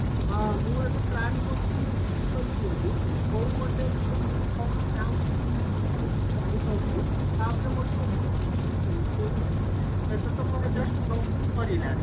ହଁ ମୁଁ ଏବେ plan କରୁଛି ମୁଁ B. TECH କରିବି ବୋଲି କଉ college ଆଉ କଣ branch ମୋର ମୁଁ clear ରେ ଜାଣିପାରୁନି ତାପରେ ମୋର ଟିକେ ପର କଥା ମାନେ ମୁଁ ଏବେ B. TECH ଏବେ ତ ମୋର just plus two ସାରିଲା